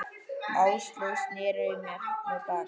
Áslaug sneri í mig baki.